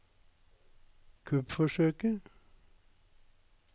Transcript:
kuppforsøket